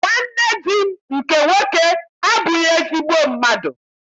Nwanne di m nke nwoke abụghị ezigbo mmadụ.